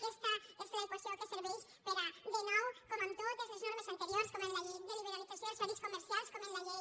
aquesta és l’equació que serveix per a de nou com en totes les normes anteriors com en la llei de liberalització dels horaris comercials com en la llei